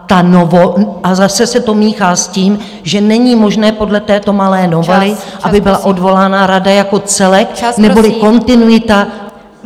A zase se to míchá s tím, že není možné podle této malé novely , aby byla odvolána rada jako celek, neboli kontinuita -